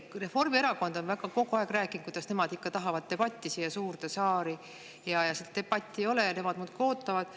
" Reformierakond on kogu aeg rääkinud, kuidas nemad ikka tahavad debatti siia suurde saali, debatti ei ole ja nemad muudkui ootavad.